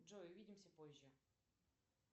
джой увидимся позже